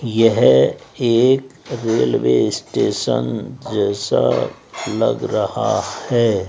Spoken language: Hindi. यह एक रेलवे स्टेशन जैसा लग रहा है।